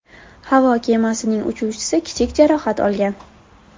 Havo kemasining uchuvchisi kichik jarohat olgan.